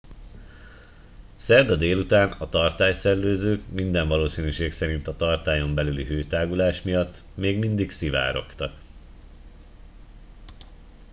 szerda délután a tartály szellőzők minden valószínűség szerint a tartályon belüli hőtágulás miatt még mindig szivárogtak